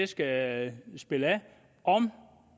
skal spænde af og